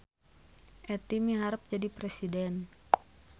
Etty miharep jadi presiden